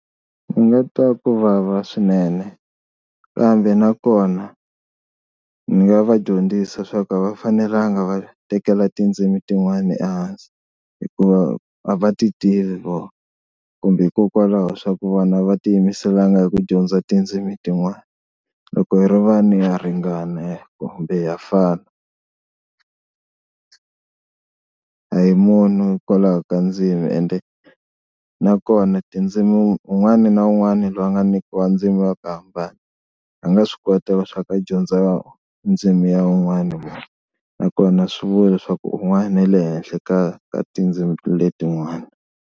Ni nga twa ku vava swinene kambe nakona ni nga va dyondzisa swa ku a va fanelanga va tekela tindzimi tin'wana ehansi hikuva a va ti tivi vona, kumbe hikokwalaho swa ku vona a va ti yimiselanga hi ku dyondza tindzimi tin'wana. Loko hi ri vanhu ha ringana kumbe ha fana. Hi munhu hikwalaho ka ndzimi ende nakona tindzimi un'wana na un'wana loyi a nga nyikiwa ndzimi ya ku hambana a nga swi kota swa ku dyondza ndzimi ya un'wana munhu nakona a swi vula leswaku un'wana u le henhla ka ka tindzimi letin'wana.